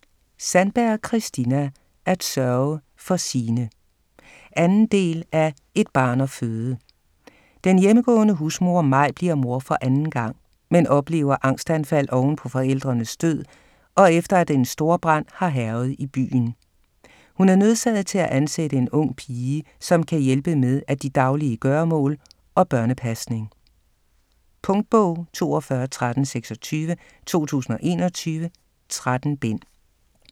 Sandberg, Kristina: At sørge for sine 2. del af Et barn at føde. Den hjemmegående husmor Maj bliver mor for anden gang, men oplever angstanfald oven på forældrenes død og efter at en storbrand har hærget i byen. Hun er nødsaget til at ansætte en ung pige, som kan hjælpe med at de daglige gøremål og børnepasning. Punktbog 421326 2021. 13 bind.